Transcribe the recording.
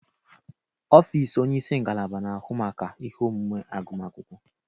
Ọfịs onye isi ngalaba na-ahụ maka ihe omume agụma akwụkwọ.